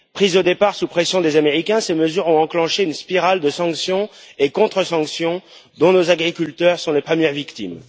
Prises au départ sous la pression des Américains, ces mesures ont enclenché une spirale de sanctions et de contre sanctions, dont nos agriculteurs sont les premières victimes.